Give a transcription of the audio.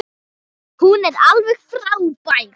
Hún er alveg frábær.